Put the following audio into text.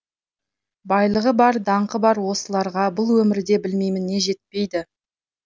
байлығы бар даңқы бар осыларға бұл өмірде білмеймін не жетпейді